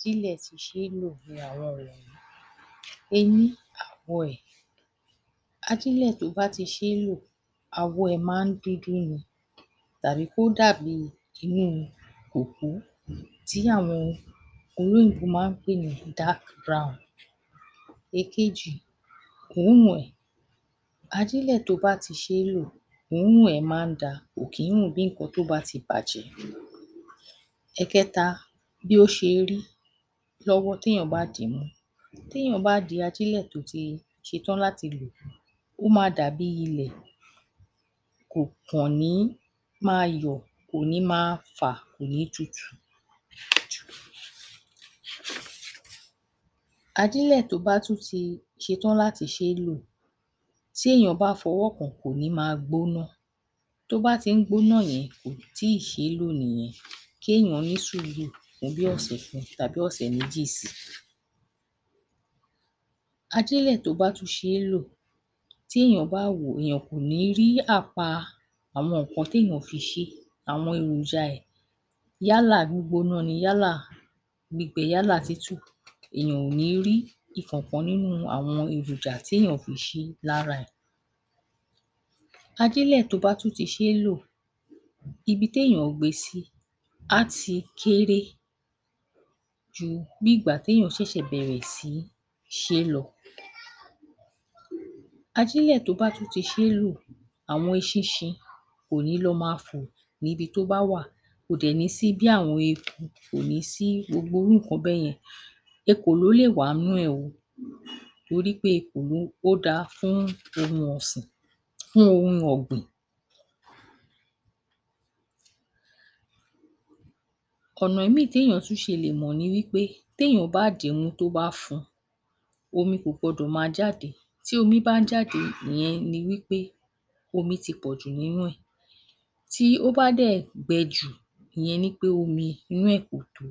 Ajílẹ̀ tó ti ṣe lò fúnra rẹ̀. Eni:-Àwọ̀ rẹ̀. Ajílẹ̀ tó ti ṣe e lò àwọ̀ rẹ̀ máa ń dúdú ni tàbí kó dàbíi kó dà bí kin ní òkú tí àwọn ologun ń pè ni dark brown. Èkejì, òórùn ẹ̀. Ajílẹ̀ tó bá ti ṣe lò, òórùn rẹ̀ máa ń dáa, kò kì í ń rùn bí nǹkan tó ti bàjẹ́. Ẹ̀kẹta, bí ó ṣe rí lọ́wọ́ tí ènìyàn bá dì í mú. Tí ènìyàn bá di ajílẹ̀ tó ti setán mú, ó máa dàbí ilẹ̀. Kò kàn ní máa yọ̀, kò ni máa fà, kò ní tutù. Ajílẹ̀ tó bá tún ṣe tán láti ṣe e lò ,tí èèyàn bá fọwọ́ kàn án, kò ní gbóná. Tó ba ti ń gbóná yẹn, kòì tíì ṣe é lò nìyẹn kééyàn ní sùúrù díẹ̀ bí ọ̀sẹ̀ kan tàbí ọ̀sẹ̀ méjì sí i. Ajílẹ̀ tó bá ti ṣe é lò, bí ènìyàn bá wò ó, kò ní àpá ohun tí wọ́n fi ṣe é àwọn èròja ẹ̀, yálà gbígbóná ni, yálà gbígbẹ, yálà tútù, èèyàn ò ní rí ìkankan nínú àwọn èròjà tí ènìyàn fi ṣe lára ẹ̀. Ajílẹ̀ tó bá tún ti ṣe é lò, ibi téèyàn gbé e a ti kéré ju bí ìgbà téèyàn ṣẹ̀ṣẹ̀ bẹ̀rẹ̀ sí i ṣe é lọ. Ajílẹ̀ tó bá tún ti ṣe é lò, àwọn eṣinṣin kò ní lọ máa tò níbi tó bá wà. Kò dẹ̀ ní sí bí àwọn eeku, kò ní sí irú nǹkan bẹ́yẹn. Ekòló lè wa n’nú ẹ o torí pé ekòló, ó dáa fún ohun ọ̀sìn fún ohun ọ̀gbìn. Ọ̀nà míìì béèyàn ṣe lè mọ̀ ni wí pé, ténìyàn bá dì í mú tó bá fún un, omi kò gbọdọ̀ máa jáde, tí omi bá ń jáde, ìyẹn ni wí pé omi ti pọ̀jù nínú ẹ̀, tí ó bá dẹ̀ j,ìyẹn ni pé omi inú ẹ̀ kò tó.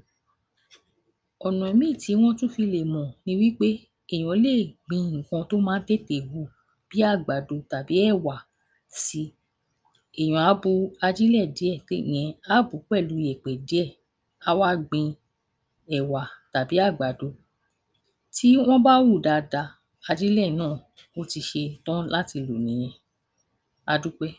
Ọ̀nà míìì tí wọn tún fi lè mọ̀ ni wí pé, èèyàn lè tètè gbin nǹkan tó máa ń tètè hù bóyá bí àgbàdo tàbí tàbí sí, èèyàn á bu ajílẹ̀ díẹ̀, a wá gbìn ín, tó bá ti hù dáadáa, a jẹ́ pé ajílẹ̀ náà ti ṣe e lò nìyẹn, a dúpẹ́.